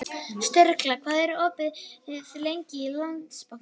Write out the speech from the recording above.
Sturla, hvað er opið lengi í Landsbankanum?